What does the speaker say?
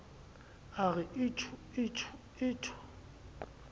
a re itjhuu itjhuu itjhuu